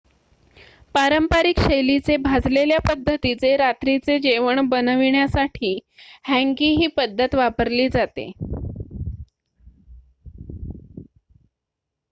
पारंपरिक शैलीचे भाजलेल्या पद्धतीचे रात्रीचे जेवण बनवण्यासाठी हँगी ही पद्धत वापरली जाते